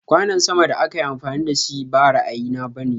Kwanon sama da akayi amfani dashi ba ra'ayi na bane.